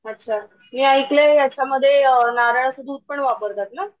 अच्छा मी ऐकलंय याच्यामध्ये नारळाचं दूध पण वापरतात ना